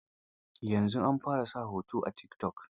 Yanzu an fara sa hoto a tikitok.